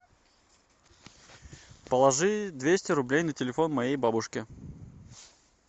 положи двести рублей на телефон моей бабушке